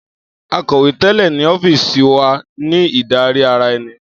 Akọ̀wé tẹ́lẹ̀ ní ọ́fíìsì wa ní ìdarí ara ẹni.